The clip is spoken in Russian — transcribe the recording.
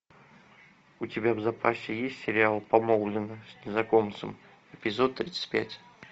у тебя в запасе есть сериал помолвлены с незнакомцем эпизод тридцать пять